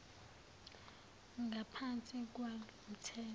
ngaphansi kwalo mthetho